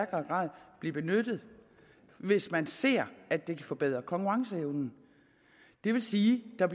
grad blive benyttet hvis man ser at det kan forbedre konkurrenceevnen det vil sige at